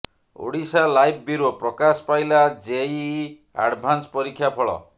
Odisha live bureau ପ୍ରକାଶ ପାଇଲା JEE advance ପରୀକ୍ଷା ଫଳ